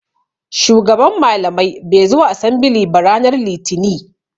Shugaban malamai bai zo asembili ba ranar litini.